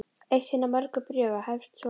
Eitt hinna mörgu bréfa hefst svona